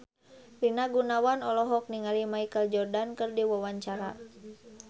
Rina Gunawan olohok ningali Michael Jordan keur diwawancara